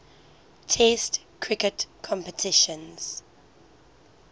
test cricket competitions